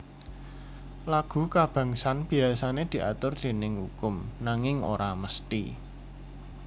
Lagu kabangsan biasané diatur déning ukum nanging ora mesthi